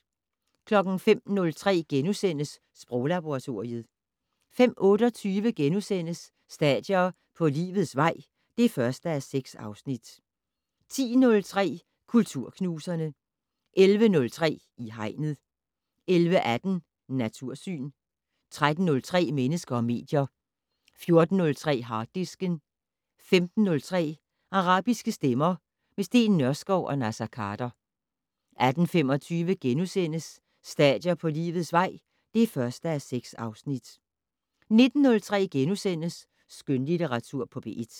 05:03: Sproglaboratoriet * 05:28: Stadier på livets vej (1:6)* 10:03: Kulturknuserne 11:03: I Hegnet 11:18: Natursyn 13:03: Mennesker og medier 14:03: Harddisken 15:03: Arabiske stemmer - med Steen Nørskov og Naser Khader 18:25: Stadier på livets vej (1:6)* 19:03: Skønlitteratur på P1 *